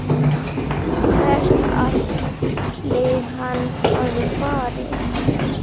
Hvert ætli hann hafi farið?